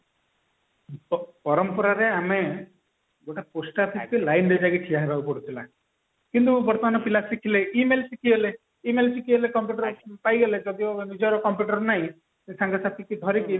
ପରମ୍ପରାରେ ଆମେ ଗୋଟେ post office ରେ line ରେ ଆମକୁ ଯାଇ ଠିଆହେବାକୁ ପଡୁଥିଲା କିନ୍ତୁ ବର୍ତମାନ ପିଲା ଶିଖିଲେ email ଶିଖିଗଲେ email ଶିଖିଗଲେ computer ପାଇଗଲେ ନିଜର computer ନାଇଁ ସାଙ୍ଗ ସାଥୀଙ୍କି ଧରିକି